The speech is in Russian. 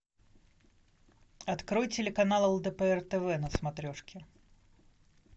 открой телеканал лдпр тв на смотрешке